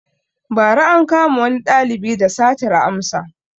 Ba ra ankama wani ɗalibi da satar amsa